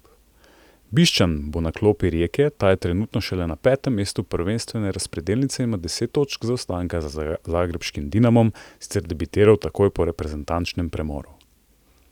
Bišćan bo na klopi Rijeke, ta je trenutno šele na petem mestu prvenstvene razpredelnice in ima deset točk zaostanka za zagrebškim Dinamom, sicer debitiral takoj po reprezentančnem premoru.